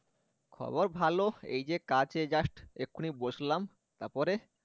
খবর ভালো, এই যে কাজে just, এখুনি বসলাম, তারপরে